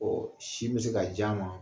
Ɔn sin be se ka ja ma